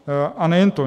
A nejen to.